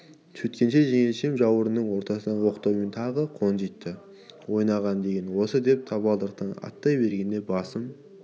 сөйткенше жеңешем жауырынымның ортасынан оқтаумен тағы қонжитты ойнаған деген осы деп табалдырықтан аттай бергенде басым